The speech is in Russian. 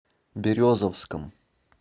березовском